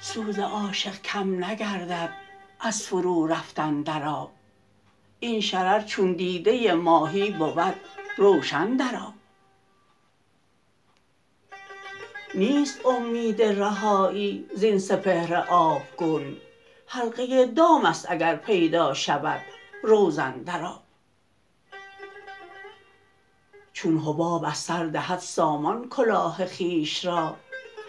سوز عاشق کم نگردد از فرو رفتن در آب این شرر چون دیده ماهی بود روشن در آب نیست امید رهایی زین سپهر آبگون حلقه دام است اگر پیدا شود روزن در آب چون حباب از سر دهد سامان کلاه خویش را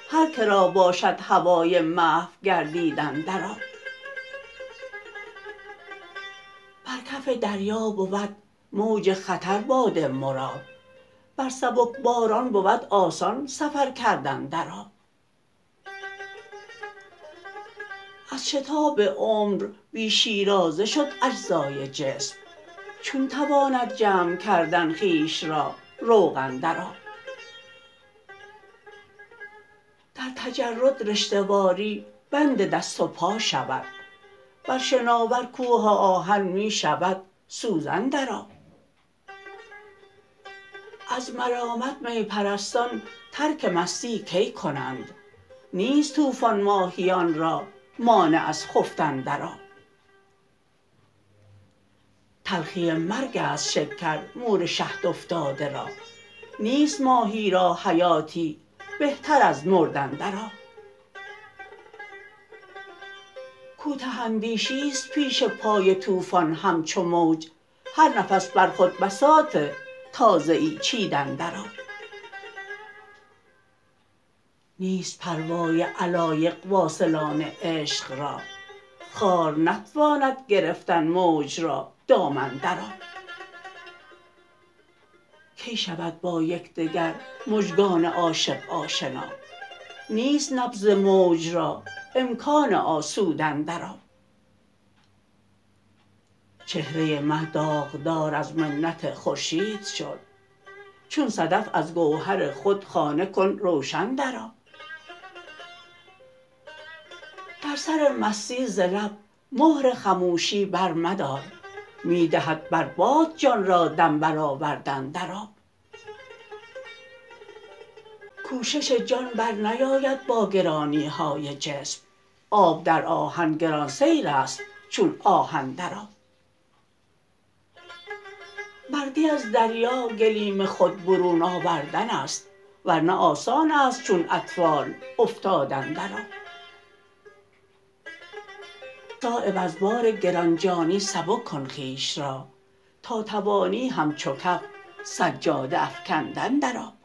هرکه را باشد هوای محو گردیدن در آب بر کف دریا بود موج خطر باد مراد بر سبکباران بود آسان سفر کردن در آب از شتاب عمر بی شیرازه شد اجزای جسم چون تواند جمع کردن خویش را روغن در آب در تجرد رشته واری بند دست و پا شود بر شناور کوه آهن می شود سوزن در آب از ملامت می پرستان ترک مستی کی کنند نیست طوفان ماهیان را مانع از خفتن در آب تلخی مرگ است شکر مور شهد افتاده را نیست ماهی را حیاتی بهتر از مردن در آب کوته اندیشی است پیش پای طوفان همچو موج هر نفس بر خود بساط تازه ای چیدن در آب نیست پروای علایق واصلان عشق را خار نتواند گرفتن موج را دامن در آب کی شود با یکدگر مژگان عاشق آشنا نیست نبض موج را امکان آسودن در آب چهره مه داغدار از منت خورشید شد چون صدف از گوهر خود خانه کن روشن در آب در سر مستی ز لب مهر خموشی برمدار می دهد بر باد جان را دم برآوردن در آب کوشش جان برنیاید با گرانی های جسم آب در آهن گران سیرست چون آهن در آب مردی از دریا گلیم خود برون آوردن است ورنه آسان است چون اطفال افتادن در آب صایب از بار گرانجانی سبک کن خویش را تا توانی همچو کف سجاده افکندن در آب